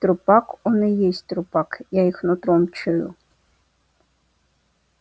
трупак он и есть трупак я их нутром чую